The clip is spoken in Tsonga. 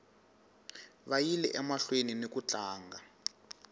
vayile emahlweni niku tlanga